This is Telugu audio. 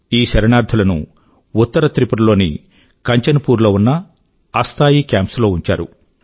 ఈ శరణార్థుల ను ఉత్తర త్రిపుర నార్త్ Tripuraలోని కంచన్ పూర్ లో ఉన్న అస్థాయీ కెంప్స్ లో ఉంచారు